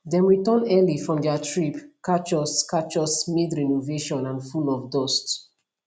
dem return early from their trip catch us catch us midrenovation and full of dust